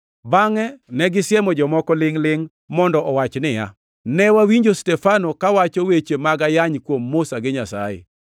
Bangʼe ne gisemo jomoko lingʼ-lingʼ mondo owach niya, “Ne wawinjo Stefano kawacho weche mag ayany kuom Musa gi Nyasaye.”